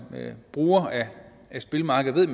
bruger af spilmarkedet